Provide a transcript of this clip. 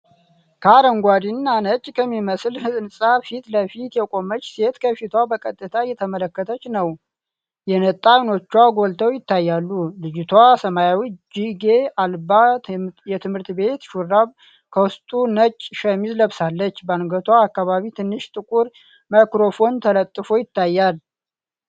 ከአረንጓዴ እና ነጭ ከሚመስል ህንጻ ፊት ለፊት የቆመች ሴት ከፊቷ በቀጥታ እየተመለከተች ነው፣ የነጣ ዓይኖቿ ጎልተው ይታያሉ። ልጅቷ ሰማያዊ እጅጌ አልባ የትምህርት ቤት ሹራብ ከውስጡ ነጭ ሸሚዝ ለብሳለች፣ በአንገቷ አካባቢ ትንሽ ጥቁር ማይክሮፎን ተለጥፎ ይታያል።